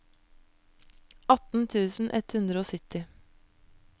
atten tusen ett hundre og sytti